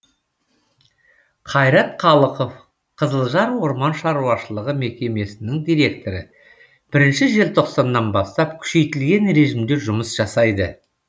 қайрат қалықов қызылжар орман шаруашылығы мекемесінің директоры бірінші желтоқсаннан бастап күшейтілген режимде жұмыс жасайды